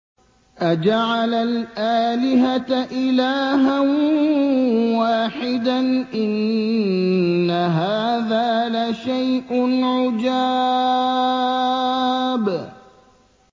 أَجَعَلَ الْآلِهَةَ إِلَٰهًا وَاحِدًا ۖ إِنَّ هَٰذَا لَشَيْءٌ عُجَابٌ